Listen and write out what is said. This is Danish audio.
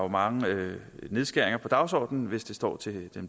mange nedskæringer på dagsordenen hvis det står til